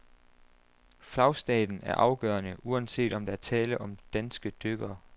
Flagstaten er afgørende, uanset om der er tale om danske dykkere.